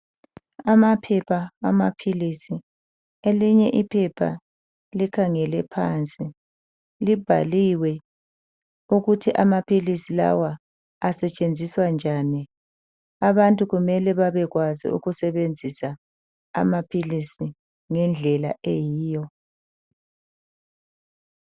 Amaphepha amaphilisi, elinye iphepha likhangele phansi libhaliwe ukuthi amaphilisi lawa asetshenziswa njani. Abantu kumele babekwazi ukusebenzisa amaphilisi ngendlela eyiyo.